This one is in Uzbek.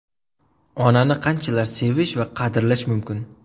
Onani qanchalar sevish va qadrlash mumkin?